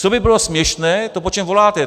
Co by bylo směšné, to, po čem voláte.